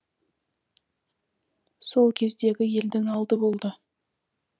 сол кездегі елдің алды болды